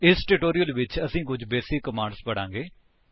ਇਸ ਟਿਊਟੋਰਿਅਲ ਵਿੱਚ ਅਸੀ ਕੁੱਝ ਬੇਸਿਕ ਕਮਾਂਡਸ ਪੜ੍ਹਾਂਗੇ